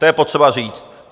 To je potřeba říct.